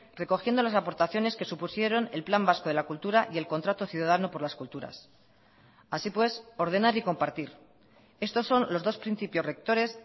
recogiendo las aportaciones que supusieron el plan vasco de la cultura y el contrato ciudadano por las culturas así pues ordenar y compartir estos son los dos principios rectores